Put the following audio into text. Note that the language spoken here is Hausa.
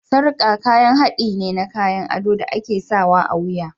Sarƙa kayan haɗi ne na kayan ado da ake sawa a wuya.